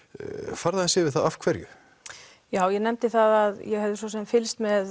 farðu aðeins yfir það af hverju já ég nefndi það að ég hefði svo sem fylgst með